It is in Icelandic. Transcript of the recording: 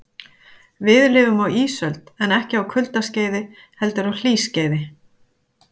Við lifum á ísöld en ekki á kuldaskeiði heldur á hlýskeiði.